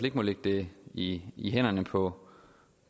ikke må lægge det i i hænderne på